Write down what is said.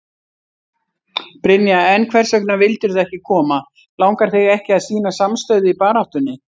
Brynja: En hvers vegna vildirðu ekki koma, langar þig ekki að sýna samstöðu í baráttunni?